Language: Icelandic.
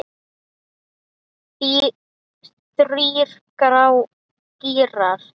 Þrír gírar.